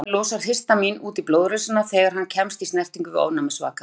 Líkaminn losar histamín út í blóðrásina þegar hann kemst í snertingu við ofnæmisvaka.